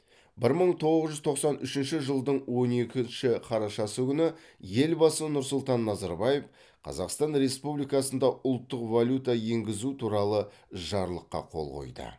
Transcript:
бір мың тоғыз жүз тоқсан үшінші жылдың он екінші қарашасы күні елбасы нұрсұлтан назарбаев қазақстан республикасында ұлттық валюта енгізу туралы жарлыққа қол қойды